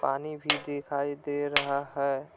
पानी भी दिखाई दे रहा है।